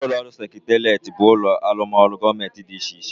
Ulo seketeret but ulo arumoru gomenti di iche iche